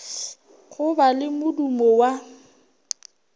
go ba le modumo wa